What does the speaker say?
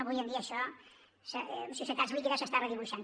avui en dia això en societats líquides s’està redibuixant